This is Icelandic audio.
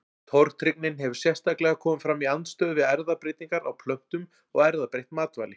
Tortryggnin hefur sérstaklega komið fram í andstöðu við erfðabreytingar á plöntum og erfðabreytt matvæli.